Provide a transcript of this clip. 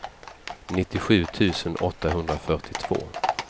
nittiosju tusen åttahundrafyrtiotvå